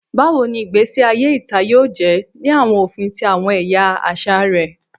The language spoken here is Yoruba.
Bawo ni igbesi aye ita yoo jẹ ni awọn ofin ti awọn ẹya aṣa rẹ?